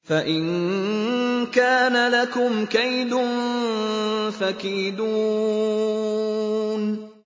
فَإِن كَانَ لَكُمْ كَيْدٌ فَكِيدُونِ